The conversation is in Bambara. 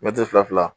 Mɛtiri fila